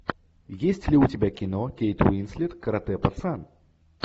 есть ли у тебя кино кейт уинслет каратэ пацан